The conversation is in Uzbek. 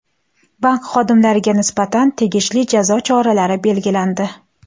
Bank xodimlariga nisbatan tegishli jazo choralari belgilandi.